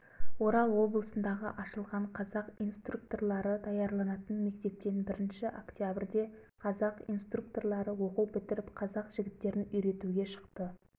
және сол нөмірінде күнбатыс алашорданың ойыл қаласындағы офицерлік мектеп оқып шыққан қазақ офицерлері туралы мынандай хабар жазды